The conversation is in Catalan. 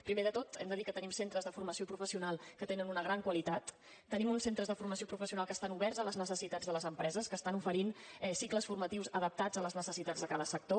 primer de tot hem de dir que tenim centres de formació professional que tenen una gran qualitat tenim uns centres de formació professional que estan oberts a les necessitats de les empreses que estan oferint cicles formatius adaptats a les necessitats de cada sector